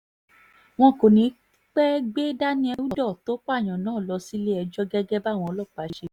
wọn kò ní í pẹ́ẹ́ gbé daniel udoh tó pààyàn náà lọ sílé-ẹjọ́ gẹ́gẹ́ báwọn ọlọ́pàá ṣe wí